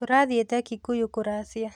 Tũrathĩite Kikuyu kũracia.